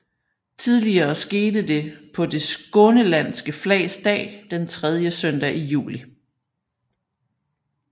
Tidligere skete det på Det Skånelandske Flags Dag den tredje søndag i juli